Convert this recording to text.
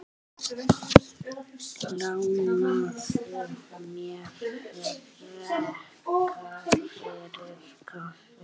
Lánaðu mér frekar fyrir kaffi.